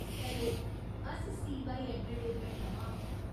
Hello, अस CY entertainment थमां आं।